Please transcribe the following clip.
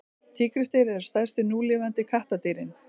tígrisdýr eru stærstu núlifandi kattardýrin